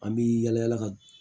An bi yala yala ka